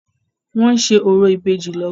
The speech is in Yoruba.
Wọ́n ń ṣe orò ìbejì lọ́wọ́.